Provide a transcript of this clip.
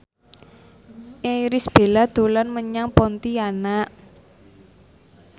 Irish Bella dolan menyang Pontianak